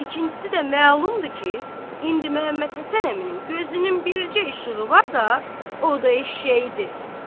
İkincisi də məlumdur ki, indi Məhəmməd Həsən əminin gözünün bircə işığı varsa, o da eşşəyidir.